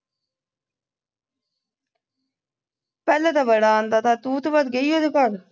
ਪਹਿਲੇ ਤੇ ਬੜਾ ਆਉਂਦਾ ਥਾਂ ਤੂੰ ਤੇ ਬਸ ਗਈ ਉਹਦੇ ਘਰ